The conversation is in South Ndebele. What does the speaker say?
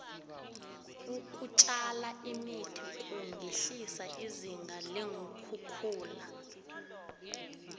ukutjala imithi kungehlisa izinga leenkhukhula